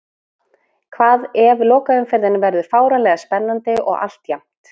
Hvað ef lokaumferðin verður fáránlega spennandi og allt jafnt?